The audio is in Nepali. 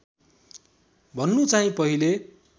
भन्नु चाहिँ पहिले